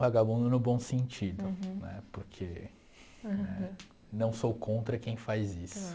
Vagabundo no bom sentido, né, porque não sou contra quem faz isso.